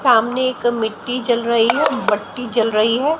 सामने एक मिट्टी जल रही है भट्टी जल रही है।